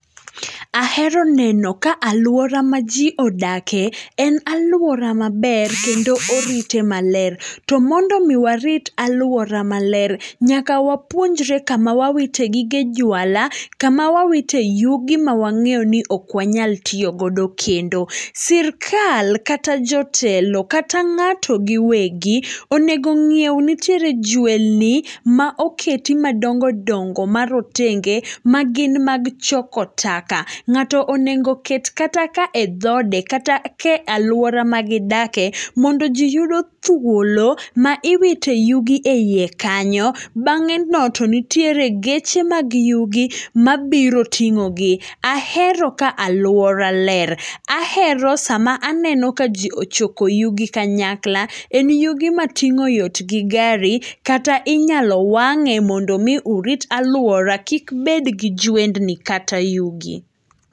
Ahero neno ka aluora majiodake, en aluora maber, kendo orite maler. To mondomi warit aluora maler, nyaka wapuonjre kama wawite gige juala, kama wawite yugi mawang'eyoni okwanyal tiyogodo kendo. Sirkal, kata jotelo, kata ng'ato gi wegi, onego ng'ieu nitiere jwendni maoketi madongo dongo marotenge, magin mag choko taka. Nga'to onego ket kata ka e dhode kata ka e aluora magidake, mondo jii yudo thuolo maiwite yugi eiye kanyo, bang'eno to nitiere geche mag yugi mabiro ting'ogi. Ahero ka aluora ler, ahero sama aneno ka jii ochoko yugi kanyakla, en yugi mating'o yot gi gari kata inyalo wang'e mondomi urit aluora, kikbedgi jwendni kata yugi.